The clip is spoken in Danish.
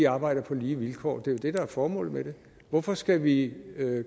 arbejder på lige vilkår det er jo det der er formålet med det hvorfor skal vi